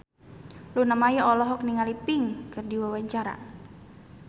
Luna Maya olohok ningali Pink keur diwawancara